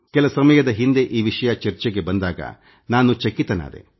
ಕೆಲ ಸಮಯದ ಹಿಂದೆ ಈ ವಿಷಯ ಚರ್ಚೆಗೆ ಬಂದಾಗ ನಾನು ಚಕಿತನಾದೆ